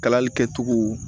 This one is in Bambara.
Kalali kɛcogo